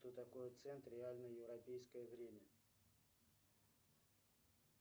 что такое цент реальное европейское время